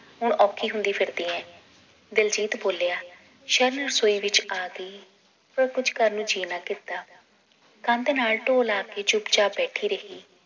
ਹੁਣ ਔਖੀ ਹੁੰਦੀ ਫਿਰਦੀ ਏ ਦਿਲਜੀਤ ਬੋਲਿਆ ਸ਼ਰਨ ਰਸੋਈ ਵਿਚ ਆ ਗਈ ਪਰ ਕੁਛ ਕਰਨ ਨੂੰ ਜੀ ਨਾ ਕੀਤਾ ਕੰਧ ਨਾਲ ਢੋ ਲਾ ਕੇ ਚੁੱਪ ਚਾਪ ਬੈਠੀ ਰਹੀ